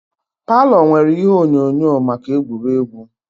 Palo nwèrè ihe onyonyo maka egwuregwu